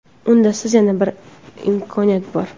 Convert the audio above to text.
Unda sizda yana bir imkoniyat bor!.